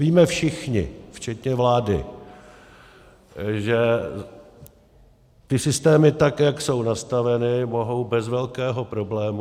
Víme všichni včetně vlády, že ty systémy, tak jak jsou nastaveny, mohou bez velkého problému...